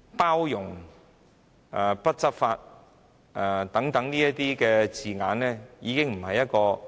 "包容"、"不執法"等字眼已經不再是出自